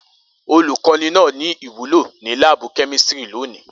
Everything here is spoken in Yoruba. Olukọni naa ni iwulo ni laabu kemistri loni.